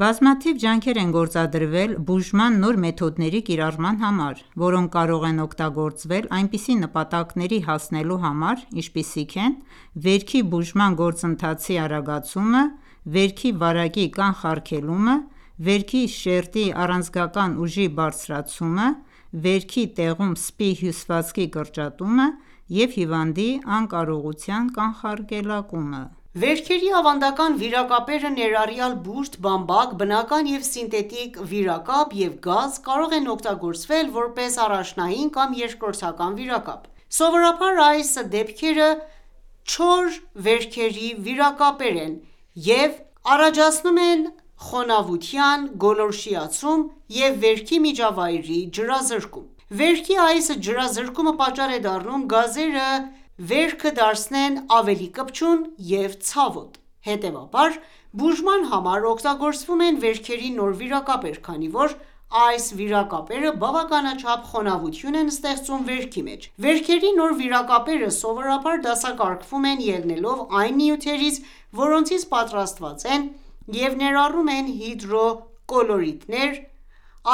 Բազմաթիվ ջանքեր են գործադրվել բուժման նոր մեթոդների կիրառման համար, որոնք կարող են օգտագործվել այնպիսի նպատակների հասնելու համար, ինչպիսիք են ՝վերքի բուժման գործընթացի արագացումը, վերքի վարակի կանխարգելումը, վերքի շերտի առաձգական ուժի բարձրացումը, վերքի տեղում սպի հյուսվածքի կրճատումը և հիվանդի անկարողության կանխարգելումը: Վերքերի ավանդական վիրակապերը, ներառյալ բուրդ, բամբակ, բնական և սինթետիկ վիրակապ և գազ, կարող են օգտագործվել որպես առաջնային կամ երկրորդական վիրակապ: Սովորաբար, այս դեպքերը չոր վերքերի վիրակապ են և առաջացնում են խոնավության գոլորշիացում և վերքի միջավայրի ջրազրկում: Վերքի այս ջրազրկումը պատճառ է դառնում գազերը վերքը դարձնեն ավելի կպչուն և ցավոտ, հետեւաբար, բուժման համար օգտագործվում են վերքերի նոր վիրակապեր, քանի որ այս վիակապերը բավականաչափ խոնավություն են ստեղծում վերքի մեջ: Վերքերի նոր վիրակապերը սովորաբար դասակարգվում են՝ ելնելով այն նյութերից, որոնցից պատրաստված են և ներառում են հիդրո կոլոիդներ,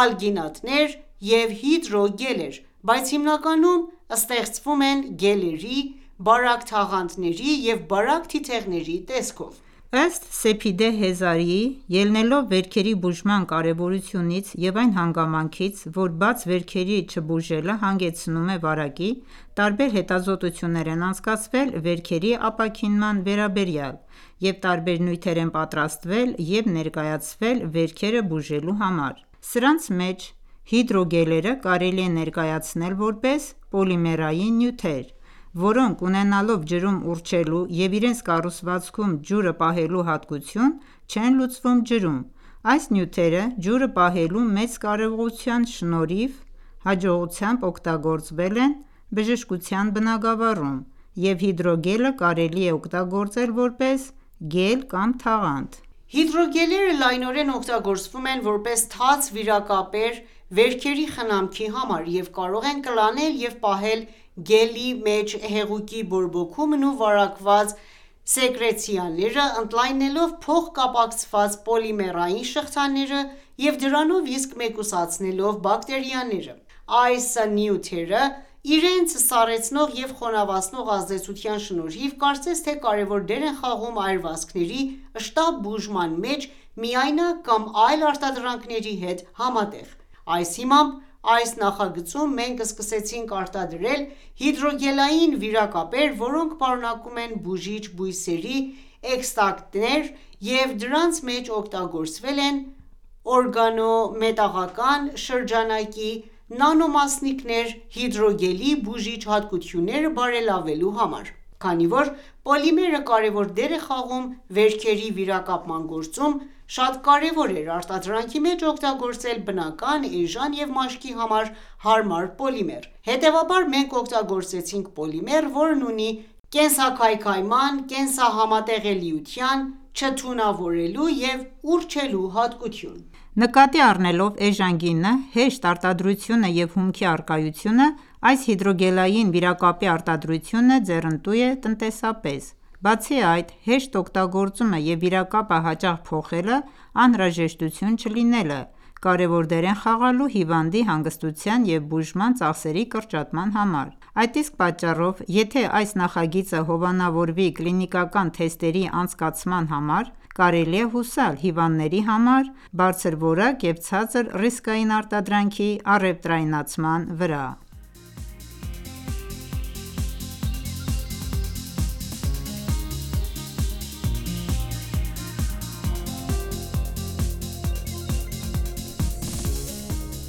ալգինատներ և հիդրո գելեր, բայց հիմնականում ստեղծվում են գելերի, բարակ թաղանթների և բարակ թիթեղների տեսքով: Ըստ Սեփիդե Հեզարիի, ելնելով վերքերի բուժման կարևորությունից և այն հանգամանքից, որ բաց վերքերի չբուժելը հանգեցնում է վարակի, տարբեր հետազոտություններ են անցկացվել վերքերի ապաքինման վերաբերյալ և տարբեր նյութեր են պատրաստվել և ներկայացվել վերքերը բուժելու համար։ Սրանց մեջ, հիդրոգելերը կարելի է ներկայացնել, որպես պոլիմերային նյութեր, որոնք, ունենալով ջրում ուռչելու և իրենց կառուցվածքում ջուրը պահելու հատկություն, չեն լուծվում ջրում։ Այս նյութերը ՝ ջուրը պահելու մեծ կարողության շնորհիվ ,հաջողությամբ օգտագործվել են բժշկության բնագավառում, և հիդրոգելը կարելի է օգտագործել, որպես գել կամ թաղանթ: Հիդրոգելները լայնորեն օգտագործվում են ,որպես թաց վիրակապեր վերքերի խնամքի համար և կարող են կլանել և պահել գելի մեջ հեղուկի բորբոքումն ու վարակված սեկրեցները՝ ընդլայնելով փոխկապակցված պոլիմերային շղթաները և դրանով իսկ մեկուսացնելով բակտերիաները: Այս նյութերը, ՝ իրենց սառեցնող և խոնավացնող ազդեցության շնորհիվ, կարծես թե՝կարևոր դեր են խաղում այրվածքների շտապ բուժման մեջ միայնակ կամ այլ արտադրանքների հետ համատեղ: Այս հիմամբ, այս նախագծում մենք սկսեցինք արտադրել հիդրոգելային վիրակապեր, որոնք պարունակում են բուժիչ բույսերի էքստրակտներ, և դրանց մեջ օգտագործվել են օրգանո մետաղական շրջանակի նանոմասնիկներ՝ հիդրոգելի բուժիչ հատկությունները բարելավելու համար։ Քանի որ պոլիմերը կարևոր դեր է խաղում վերքերի վիրակապման գործում, շատ կարևոր էր արտադրանքի մեջ օգտագործել բնական, էժան և մաշկի համար հարմար պոլիմեր: Հետևաբար, մենք օգտագործեցինք պոլիմեր, որն ունի կենսաքայքայման, կենսահամատեղելիության, չթունավորելու և ուռչելու հատկություն: Նկատի առնելով էժան գինը, հեշտ արտադրությունը և հումքի առկայությունը ,այս հիդրոգելային վիրակապի արտադրությունը ձեռընտու է տնտեսապես: Բացի այդ, հեշտ օգտագործումը և վիրակապը հաճախ փոխելը անհրաժեշտություն չլինելը, կարևոր դեր են խաղալու հիվանդի հանգստության և բուժման ծախսերի կրճատման համար: Այդ իսկ պատճառով, եթե այս նախագիծը հովանավորվի կլինիկական թեստերի անցկացման համար, կարելի է հուսալ հիվանդների համար բարձրորակ և ցածր ռիսկային արտադրանքի առևտրայնացման վրա: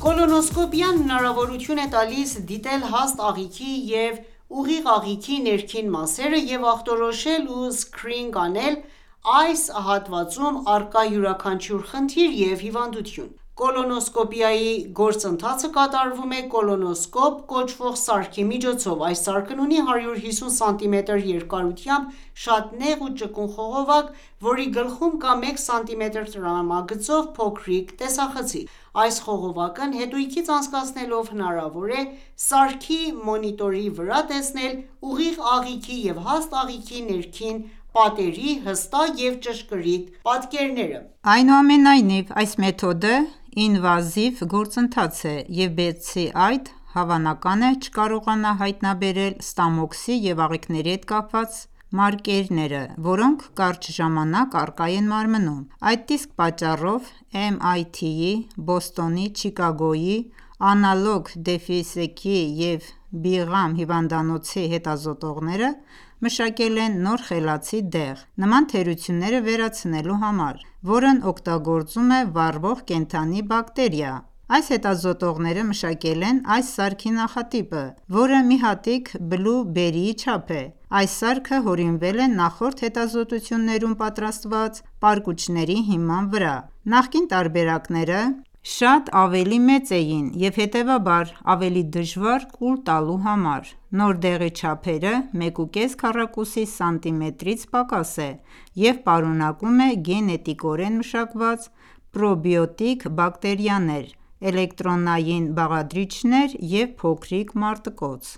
Կոլոնոսկոպիան հնարավորություն է տալիս դիտել հաստ աղիքի և ուղիղ աղիքի ներքին մասերը և ախտորոշել ու սքրինինգ անել այս հատվածում առկա յուրաքանչյուր խնդիր և հիվանդություն: Կոլոնոսկոպիայի գործընթացը կատարվում է կոլոնոսկոպ կոչվող սարքի միջոցով: Այս սարքն ունի 150 սմ երկարությամբ շատ նեղ ու ճկուն խողովակ, որի գլխում կա 1 սմ տրամագծով փոքրիկ տեսախցիկ։ Այս խողովակն հետույքից անցկացնելով հնարավոր է ՝ սարքի մոնիտորի վրա տեսնել ուղիղ աղիքի և հաստ աղիքի ներքին պատերի հստակ և ճշգրիտ պատկերներ։ Այնուամենայնիվ, այս մեթոդը ինվազիվ գործընթաց է, և բացի այդ, հավնական է ,չկարողանա հայտնաբերել ստամոքսի և աղիքների հետ կապված մարկերները, որոնք կարճ ժամանակ առկա են մարմնում: Այդ իսկ պատճառով MIT-ի, Բոստոնի, Չիկագոյի, Analog Devices-ի և Brigham հիվանդանոցի հետազոտողները մշակել են նոր խելացի դեղ՝ նման թերությունները վերացնելու համար, որն օգտագործում է վառվող կենդանի բակտերիա: Այս հետազոտողները մշակել են այս սարքի նախատիպը, որը մի հատիկ բլու բերիի չափ է։Այս սարքը հորինվել է նախորդ հետազոտություններում պատրաստված պարկուճների հիման վրա։ Նախկին տարբերակները շատ ավելի մեծ էին և, հետևաբար, ավելի դժվար կուլ տալու համար: Նոր դեղի չափերը 1.4 քառակուսի սանտիմետրից պակաս է և պարունակում է գենետիկորեն մշակված պրոբիոտիկ բակտերիաներ, էլեկտրոնային բաղադրիչներ և փոքրիկ մարտկոց: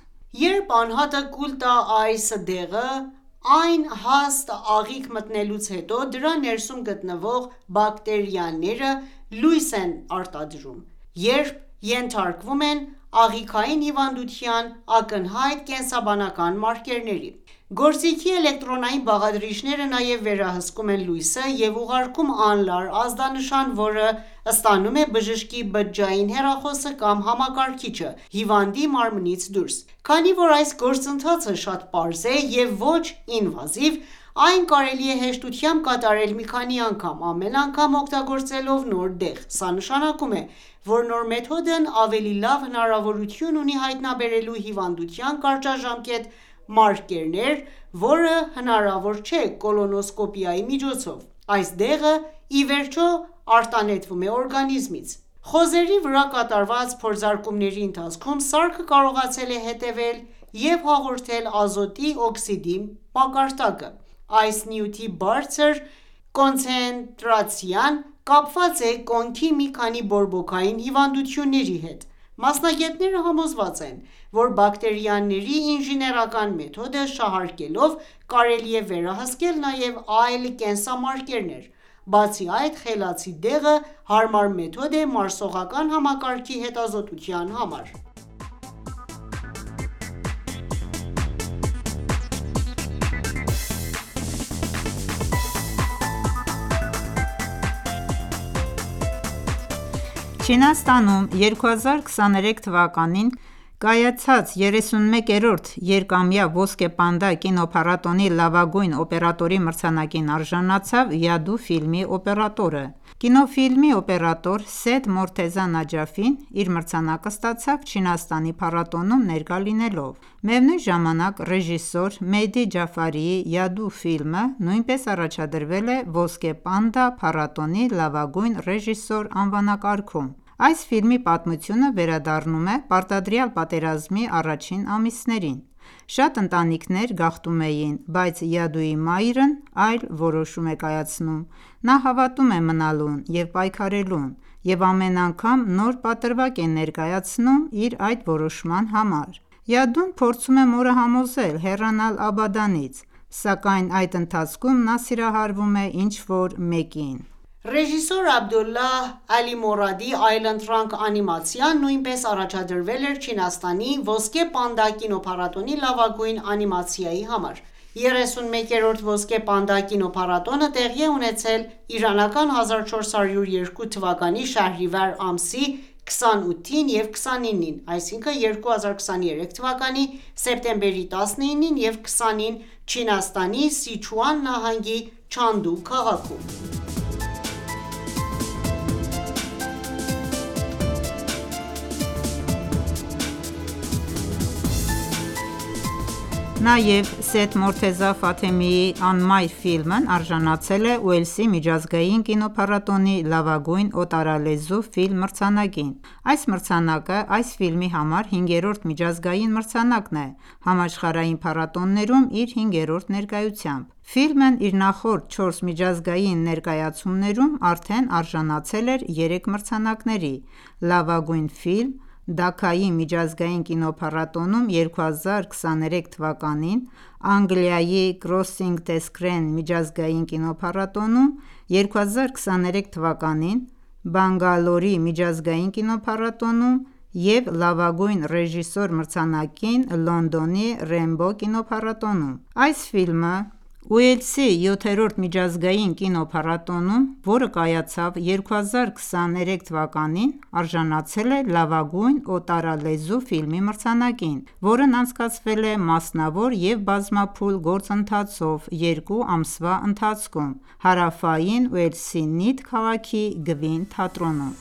Երբ անհատը կուլ տա այս դեղը ,այն հաստ աղիք մտնելուց հետո ,դրա ներսում գտնվող բակտերիաները լույս են արտադրում, երբ ենթարկվում են աղիքային հիվանդության ակնհայտ կենսաբանական մարկերների: Գործիքի էլեկտրոնային բաղադրիչները նաև վերահսկում են լույսը և ուղարկում անլար ազդանշան, որը ստանում է բժշկի բջջային հեռախոսը կամ համակարգիչը հիվանդի մարմնից դուրս: Քանի որ այս գործընթացը շատ պարզ է և ոչ ինվազիվ, այն կարելի է հեշտությամբ կատարել մի քանի անգամ՝ ամեն անգամ օգտագործելով նոր դեղ: Սա նշանակում է, որ նոր մեթոդն ավելի լավ հնարավորություն ունի հայտնաբերելու հիվանդության կարճաժամկետ մարկերներ, որը հնարավոր չէ կոլոնոսկոպիայի միջոցով: Այս դեղը ի վերջո արտանետվում է օրգանիզմից։ Խոզերի վրա կատարված փորձարկումների ընթացքում սարքը կարողացել է հետևել և հաղորդել ազոտի օքսիդի մակարդակը: Այս նյութի բարձր կոնցենտրացիան կապված է կոնքի մի քանի բորբոքային հիվանդությունների հետ: Մասնագետները համոզված են, որ բակտերիաների ինժեներական մեթոդը շահարկելով՝ կարելի է վերահսկել նաև այլ կենսամարկերներ։ Բացի այդ, խելացի դեղը հարմար մեթոդ է մարսողական համակարգի հետազոտության համար։ Չինաստանում 2023 թվականին կայացած 31-րդ երկամյա «ոսկե պանդա» կինոփառատոնի լավագույն օպերատորի մրցանակին արժանացավ «Yadoo» ֆիլմի օպերատորը։ Կինոֆիլմի օպերատոր Սեյեդ Մորթեզա Նաջաֆին իր մրցանակը ստացավ՝ Չինաստանի փառատոնում ներկա լինելով։ Միևնույն ժամանակ, ռեժիսոր Մեհդի Ջաֆարիի «Yadoo» ֆիլմը նույնպես առաջադրվել է «Ոսկե պանդա» փառատոնի լավագույն ռեժիսոր անվանակարգում։ Այս ֆիլմի պատմությունը վերադառնում է պարտադրյալ պատերազմի առաջին ամիսներին: Շատ ընտանիքներ գաղթում էին, բայց «Yadoo»-ի մայրն այլ որոշում է կայացնում։ Նա հավատում է մնալուն և պայքարելուն և ամեն անգամ նոր պատրվակ է ներկայացնում իր այդ որոշման համար։ «Yadoo»-ն փորձում է մորը համոզել հեռանալ Աբադանից, սակայն այդ ընթացքում նա սիրահարվում է ինչ-որ մեկին։ Ռեժիսոր Աբդոլլահ Ալիմորադի «Այլընտրանք» անիմացիան նույնպես առաջադրվել էր Չինաստանի «Ոսկե պանդա» կինոփառատոնի լավագույն անիմացիայի համար։ 31-րդ «Ոսկե պանդա» կինոփառատոնը տեղի է ունեցել 1402 թվականի շահրիվար ամսի 28-ին և 29-ին (2023 թվականի սեպտեմբերի 19-ին և 20-ին) Չինաստանի Սիչուան նահանգի Չանդու քաղաքում։ Նաև Սեյեդ Մորթեզա Ֆաթեմիի «Անմայր» ֆիլմն արժանացել է «Ուելսի միջազգային կինոփառատոնի» լավագույն օտարալեզու ֆիլմ մրցանակին։ Այս մրցանակը, այս ֆիլմի համար հինգերորդ միջազգային մրցանակն է, համաշխարհային փառատոներում իր հինգերորդ ներկայությամբ։ Ֆիլմն իր նախորդ չորս միջազգային ներկայացումներում արդեն արժանացել էր երեք մրցանակների՝«Լավագույն ֆիլմ» ՝Դաքայի միջազգային կինոփառատոնում 2023 թվականին, Անգլիայի Crossing the Screen միջազգային կինոփատատոնում 2023 թվականին, Բանգալորի միջազգային կինոփառատոնում և «Լավագույն ռեժիսոր» մրցանակին, Լոնդոնի Rainbow կինոփառատոնում: Այս ֆիլմը «Ուելսի 7-րդ միջազգային կինոփառատոնում ,որը կայացավ 2023»-ին, արժանացել է լավագույն օտարալեզու ֆիլմի մրցանակին, որն անցկացվել է մասնավոր և բազմափուլ գործընթացով 2 ամսվա ընթացքում, Հարավային Ուելսի Նիթ քաղաքի Գվին թատրոնում։